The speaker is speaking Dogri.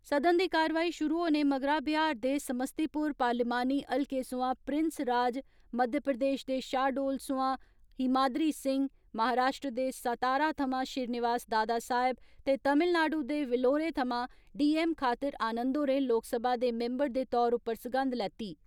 सदन दी कार्रवाई शुरू होने मगरा बिहार दी समस्तीपुर पार्लियामानी हल्के सोआं प्रिंस राज, मध्य प्रदेश दे शाहडोल सोयां हीमादरी सिंह, महाराश्ट्र दे सतारा थवां श्रीनिवास दादा साहिब ते तमिल नाडू दे विलोरे थवां डी.एम खातिर आनन्द होरें लोकसभा दे मिम्बर दे तौर उप्पर सगंध लैती।